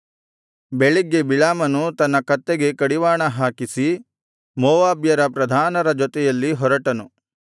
ಬೆಳಿಗ್ಗೆ ಬಿಳಾಮನು ತನ್ನ ಕತ್ತೆಗೆ ಕಡಿವಾಣ ಹಾಕಿಸಿ ಮೋವಾಬ್ಯರ ಪ್ರಧಾನರ ಜೊತೆಯಲ್ಲಿ ಹೊರಟನು